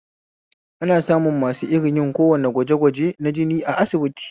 Ana samun masu yin kowane irn gwaje gwajen na jini a asibiti